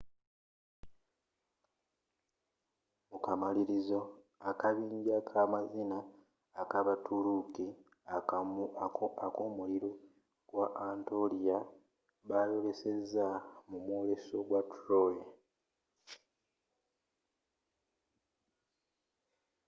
mukamalirizo akabinja kamazina akabaturuuki akomuliro gwa anatolia bayoleseza mu mwoleso gwa troy